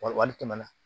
Wali tɛmɛ na